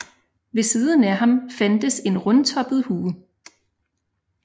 Ved siden af ham fandtes en rundtoppet hue